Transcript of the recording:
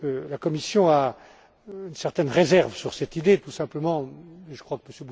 La Commission a une certaine réserve sur cette idée tout simplement je crois que M.